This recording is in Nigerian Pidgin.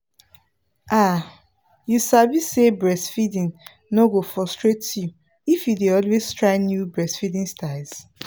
ah you sabi say breastfeeding no go frustrate you if you dey always try new breastfeeding styles